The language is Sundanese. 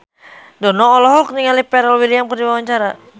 Dono olohok ningali Pharrell Williams keur diwawancara